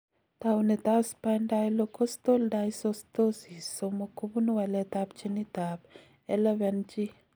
Taunetab Spondylocostal dysostosis 3 kobunu waletab ginitab LFNG.